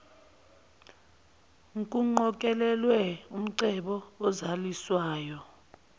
nkuqokelelwe umcebo ozaliswayo